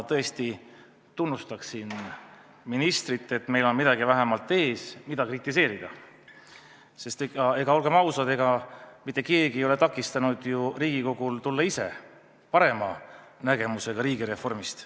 Kõigepealt tunnustan ma ministrit, et meil on vähemalt midagi ees, mida kritiseerida, sest olgem ausad, ega mitte keegi ei ole takistanud ju Riigikogul tulla ise välja parema nägemusega riigireformist.